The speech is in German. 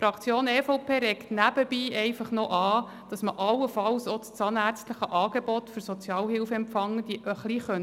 Die Fraktion EVP regt nebenbei einfach noch an, dass man allenfalls auch das zahnärztliche Angebot für Sozialhilfeempfangende etwas straffen könnte.